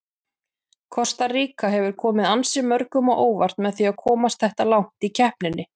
Kosta Ríka hefur komið ansi mörgum á óvart með að komast þetta langt í keppninni.